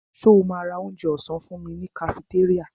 Ṣo ma ra onjẹ ọ̀sán fúnmi ní kafitéríà?